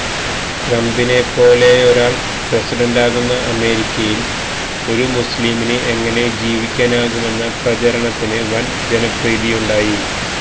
ട്രംപിനെ പോലെയൊരാൾ പ്രസിഡന്റാകുന്ന അമേരിക്കയിൽ ഒരുമുസ്ളീംമിന് എങ്ങനെ ജീവിക്കാനാകുമെന്ന പ്രചരണത്തിന് വൻ ജനപ്രീതിയുണ്ടായി